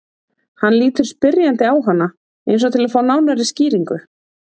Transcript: Hann lítur spyrjandi á hana eins og til að fá nánari skýringu.